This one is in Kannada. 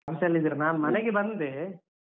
Office ಲ್ಲೆ ಇದ್ದೀರಾ ನಾನ್ ಮನೆಗೆ ಬಂದೆ.